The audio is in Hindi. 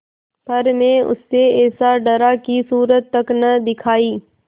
पर मैं उससे ऐसा डरा कि सूरत तक न दिखायी